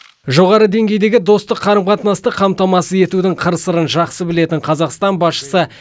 жоғары деңгейдегі достық қарым қатынасты қамтамасыз етудің қыр сырын жақсы білетін қазақстан басшысы